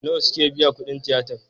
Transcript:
Nawa suka biya kudin tiyatar?